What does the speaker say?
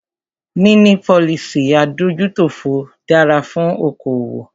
Níní policy adójútòfò dára fún okoòwò.